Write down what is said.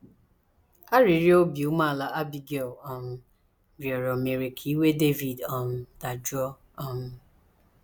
Arịrịọ obi umeala Abigail um rịọrọ mere ka iwe Devid um dajụọ. um